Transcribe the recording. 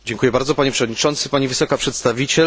Panie Przewodniczący, Pani Wysoka Przedstawiciel!